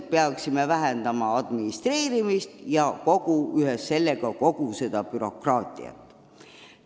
Me peaksime administreerimist ja ühes sellega kogu seda bürokraatiat jõuliselt vähendama.